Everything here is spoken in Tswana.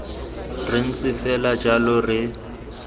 re ntse fela jalo re